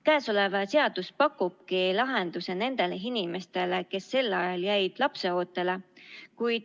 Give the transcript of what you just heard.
Käesolev seadus pakubki lahenduse nendele inimestele, kes sel ajal jäid lapseootele.